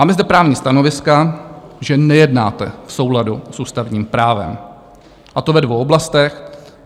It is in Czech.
Máme zde právní stanoviska, že nejednáte v souladu s ústavním právem, a to ve dvou oblastech.